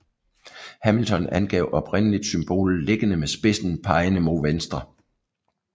Hamilton angav oprindeligt symbolet liggende med spidsen pegende mod venstre